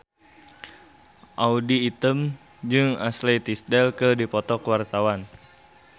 Audy Item jeung Ashley Tisdale keur dipoto ku wartawan